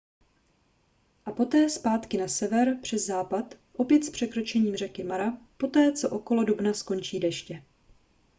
a poté zpátky na sever přes západ opět s překročením řeky mara poté co okolo dubna skončí deště